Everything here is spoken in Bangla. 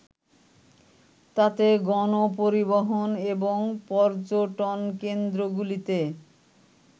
তাতে গণপরিবহন এবং পর্যটনকেন্দ্রগুলিতে